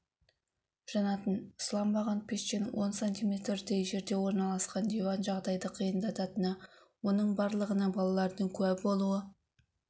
жанатын сыланбаған пештен он сантиметрдей жерде орналасқан диван жағдайды қиындататыны оның барлығына балалардың куә болуы